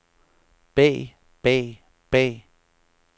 bag bag bag